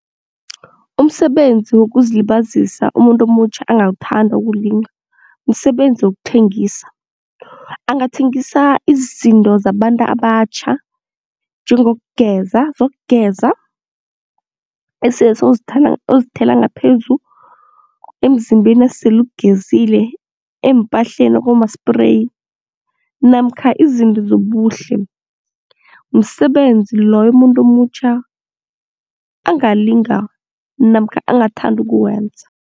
Umsebenzi wokuzilibazisa umuntu omutjha angawuthanda ukuwulinga, msebenzi wokuthengisa, angathengisa izinto zabantu abatjha njengokugeza zokugeza esele ozithela ngaphezu emzimbeni esele ugezile eempahleni okuma-spray namkha izinto zobuhle. Msebenzi loyo umuntu omutjha angalinga namkha angathanda ukuwenza.